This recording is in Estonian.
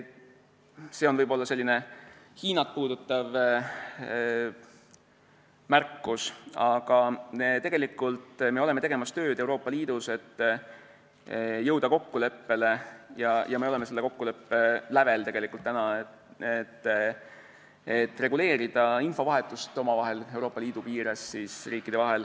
See oli võib-olla selline Hiinat puudutav märkus, aga me oleme tegemas Euroopa Liidus tööd, et jõuda kokkuleppele, ja me oleme selle kokkuleppe lävel, et reguleerida infovahetust omavahel, Euroopa Liidu piires.